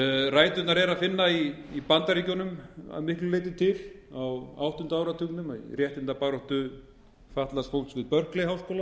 ræturnar er að finna í bandaríkjunum að miklu leyti til á áttunda áratugnum í réttindabaráttu fatlaðs fólks við berkeley háskóla til